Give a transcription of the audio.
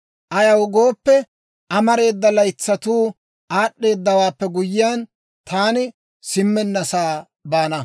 Ayaw gooppe, amareeda laytsatuu aad'd'eedawaappe guyyiyaan, taani simmennasaa baana.